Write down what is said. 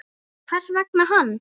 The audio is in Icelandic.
Hvers vegna hann?